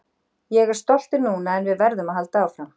Ég er stoltur núna en við verðum að halda áfram.